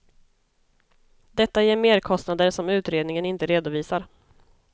Detta ger merkostnader som utredningen inte redovisar.